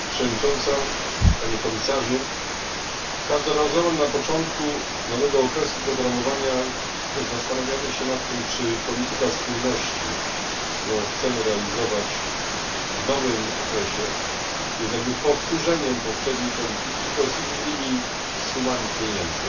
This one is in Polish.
Pani Przewodnicząca! Panie Komisarzu! Każdorazowo na początku nowego okresu programowania zastanawiamy się nad tym, czy polityka spójności, którą chcemy realizować w nowym okresie, jest jakby powtórzeniem poprzedniej polityki, tylko z innymi sumami pieniędzy,